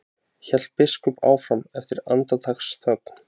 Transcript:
hélt biskup áfram eftir andartaks þögn.